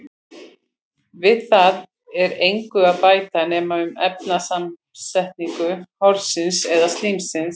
Við það er engu að bæta nema um efnasamsetningu horsins eða slímsins.